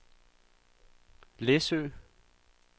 Læsø